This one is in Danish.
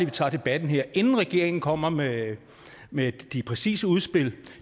vi tager debatten her inden regeringen kommer med med de præcise udspil